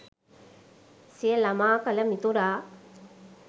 සිය ළමා කල මිතුරා